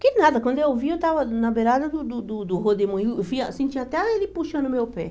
Que nada, quando eu vi, eu estava na beirada do do do do redemoinho, eu fui senti até ele puxando o meu pé.